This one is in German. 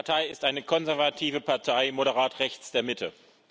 Meine Partei ist eine konservative Partei, moderat, rechts der Mitte.